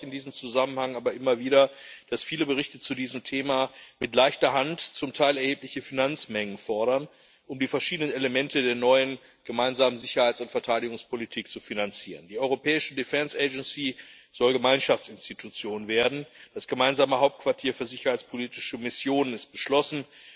Mich macht in diesem Zusammenhang aber immer wieder besorgt, dass viele Berichte zu diesem Thema mit leichter Hand zum Teil erhebliche Finanzmengen fordern, um die verschiedenen Elemente der neuen gemeinsamen Sicherheits und Verteidigungspolitik zu finanzieren. Die europäische soll Gemeinschaftsinstitution werden, das gemeinsame Hauptquartier für sicherheitspolitische Missionen ist beschlossen.